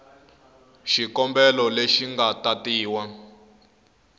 xikombelo leyi yi nga tatiwa